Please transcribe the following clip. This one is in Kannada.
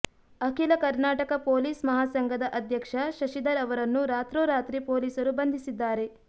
ಅಖಿಲ ಕರ್ನಾಟಕ ಪೊಲೀಸ್ ಮಹಾಸಂಘದ ಅಧ್ಯಕ್ಷ ಶಶಿಧರ್ ಅವರನ್ನು ರಾತ್ರೋ ರಾತ್ರಿ ಪೊಲೀಸರು ಬಂಧಿಸಿದ್ದಾರೆ